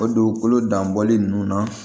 O dugukolo danbɔli nunnu na